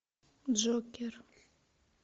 джокер